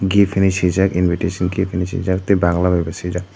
gift hinwi swijak invitation gift hinwi swijak tei bangla bai bo swijak.